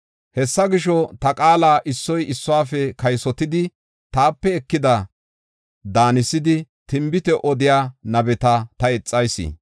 “Hessa gisho, ta qaala issoy issuwafe kaysotidi taape ekida daanisidi tinbite odiya nabeta ta ixayis.